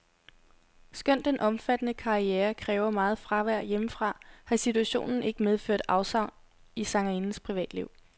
Skønt den omfattende karriere kræver meget fravær hjemmefra, har situationen ikke medført afsavn i sangerindens privatliv.